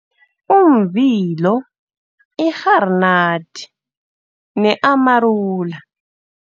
Umvilo, irharinati, ne-amarula